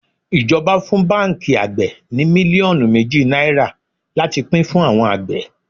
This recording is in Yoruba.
Ijoba fún báńkì àgbè ní mílíọ̀nù méjì náírà láti pín fún àwọn àgbẹ̀.